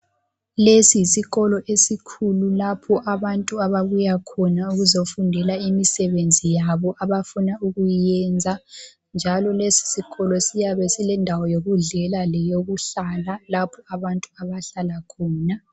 Lesiyisikolo esikhulu lapho abantu ababuyakhona ukuzofundela imisebenzi yabo abafuna ukuyenza. Njalo lesisikolo siyabe silendawo yokudlela leyokuhlala, lapho abantu abahlala khona.